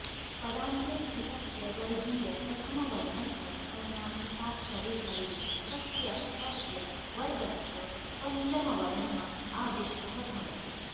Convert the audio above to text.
पदान्ते स्थितस्य वर्गीयप्रथमवर्णस्य अनुनासिकाक्षरे परे तस्य तस्य वर्गस्य पञ्चमवर्णः आदिष्टः भवति